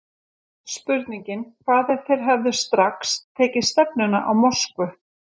Spurningin Hvað ef þeir hefðu strax tekið stefnuna á Moskvu?